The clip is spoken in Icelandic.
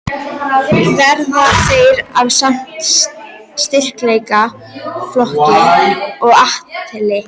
Verða þeir af sama styrkleikaflokki og Atli?